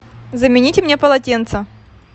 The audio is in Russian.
замените мне полотенце